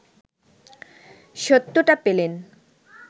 সত্যতা পেলেন